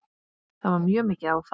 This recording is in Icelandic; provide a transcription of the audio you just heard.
Það var mjög mikið áfall.